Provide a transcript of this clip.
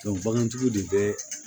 bagantigiw de bɛ